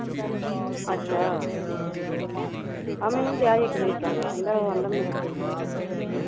ਅੱਛਾ ਆਹੋ ਮੈਨੂੰ ਡੀਆ ਸੀ ਇੱਕ ਦਿਨ ਕਹਿਣ ਕਹਿੰਦਾ ਉਹ ਕਹਿੰਦਾ ਮੇਰਾ ਦਿਲ ਨੀ ਲੱਗਦਾ ਏਥੇ